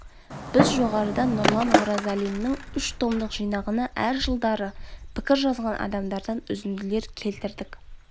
біз жоғарыда нұрлан оразалиннің үш томдық жинағына әр жылдары пікір жазған адамдардан үзінділер келтірдік